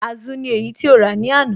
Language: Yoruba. Azu ni èyí tí ó rà ní àná.